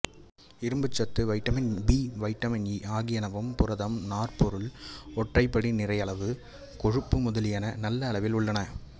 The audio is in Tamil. இரும்புச்சத்து வைட்டமின் பி வைட்டமின் ஈ ஆகியனவும் புரதம் நார்ப்பொருள் ஒற்றைபப்டி நிறைவுறு கொழுப்பு முதலியன நல்ல அளவில் உள்ளன